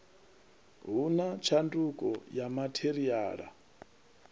hu na tshanduko ya matheriala